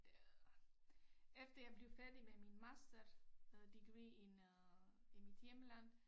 Øh efter jeg blev færdig med min master øh degree in øh i mit hjemland